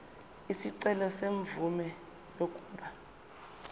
isicelo semvume yokuba